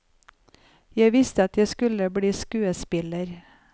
Jeg visste at jeg skulle bli skuespiller.